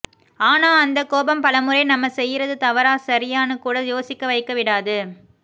ஆனா அந்த கோபம் பலமுறை நம்ம செய்யுறது தவறா சரியானு கூட யோசிக்க வைக்க விடாது